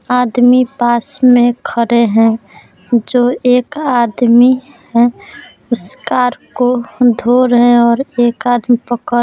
आदमी पास में खड़े है जो एक आदमी है उस कार को धो रहे है और एक आदमी पकड़ --